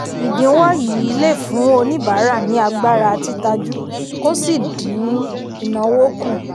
ìdínwó yìí lè fún oníbàárà ní agbára títajú kó sì din ináwó kù.